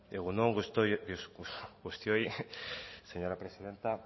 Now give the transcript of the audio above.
egun on guztioi señora presidenta